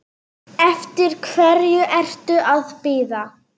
Eftir hverju ertu að bíða!